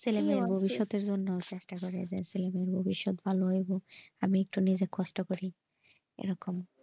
ছেলে মেয়ের ভবিষৎ আর জন্য চেষ্টা করা যাই ছেলেমেয়ের ভবিষৎ ভালো হবে আমি একটু নিজে কষ্ট করি এরকম,